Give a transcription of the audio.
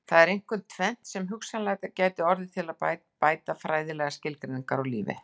Það er einkum tvennt sem hugsanlega gæti orðið til að bæta fræðilegar skilgreiningar á lífi.